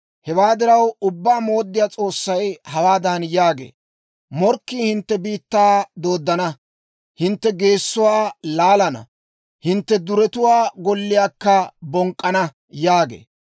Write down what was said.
Hewaa diraw, Ubbaa Mooddiyaa S'oossay hawaadan yaagee; «Morkkii hintte biittaa dooddana; hintte geesuwaa laalana; hintte duretuwaa golliyaakka bonk'k'ana» yaagee.